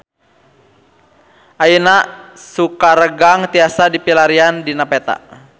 Ayeuna Sukaregang tiasa dipilarian dina peta